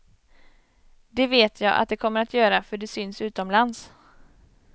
Det vet jag att det kommer att göra, för det syns utomlands.